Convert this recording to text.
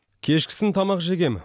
кешкісін тамақ жегем